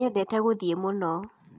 Nĩendete gũthiĩ mũno